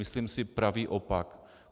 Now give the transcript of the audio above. Myslím si pravý opak.